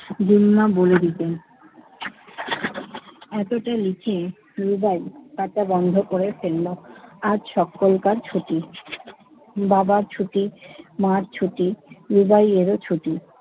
গুরু মা বলে দিতেন, এতটা নিচে রুবাই তারটা বন্ধ করে ফেলল। আজ সকলকার ছুটি বাবার ছুটি মার ছুটি, রুবাই এরও ছুটি।